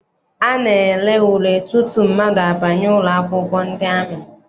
A na-ele ule tutu mmadụ abanye ụlọakwụkwọ ndị amị.